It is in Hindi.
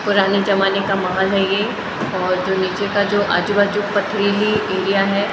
पुराने जमाने का महल है ये और जो नीचे का जो आजुबाजु पथरीली एरिया है ।